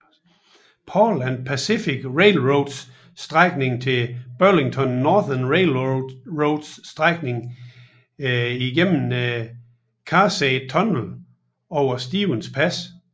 Paul and Pacific Railroads strækning til Burlington Northern Railroads strækning gennem Cascade Tunnel over Stevens Pass